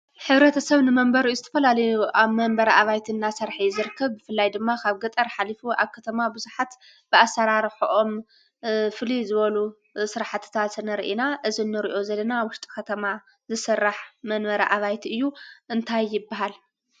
ሕብረተሰብ ንመንበሪኡ ዝተፈላለዩ ኣብ መንበሪ ኣባይቲ እናሰርሐ እዩ ዝርከብ ።ብፍላይ ድማ ካብ ገጠር ሓሊፉ ኣብ ከተማ ብዙሓት ብኣሰራርሐኦም ፍልይ ዝበሉ ስራሕቲታት ንሪኢ ኢና ።እዚ እንሪኦ ዘለና ውሽጢ ከተማ ዝስራሕ መንበሪ ኣባይቲ እዩ። እንታይ ይበሃል ?